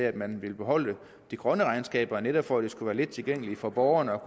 at man ville beholde de grønne regnskaber netop for at det skulle være let tilgængeligt for borgerne